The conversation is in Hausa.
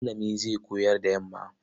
Malami zai koyar da yamma.